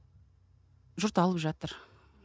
жұрт алып жатыр